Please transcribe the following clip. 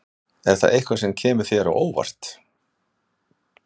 Er það eitthvað sem kemur þér á óvart?